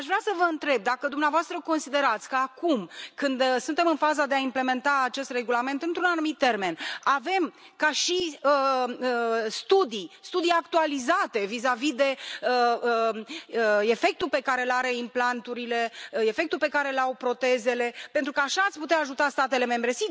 Aș vrea să vă întreb dacă dumneavoastră considerați că acum, când suntem în faza de a implementa acest regulament într un anumit termen, avem studii actualizate vizavi de efectul pe care îl au implanturile, efectul pe care îl au protezele, pentru că așa ați putea ajuta statele membre.